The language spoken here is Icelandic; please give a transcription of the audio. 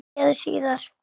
Sé þig síðar.